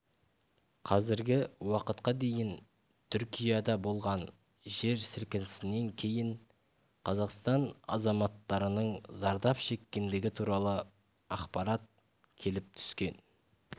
қазіргі уақытқа дейін түркияда болған жер сілкінісінен кейін қазақстан азаматтарының зардап шеккендігі туралы ақпарат келіп түскен